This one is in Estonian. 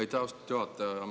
Aitäh, austatud juhataja!